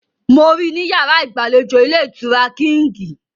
Mo rí i ní yàrá ìgbàlejò ilé-ìtura Kíǹgì.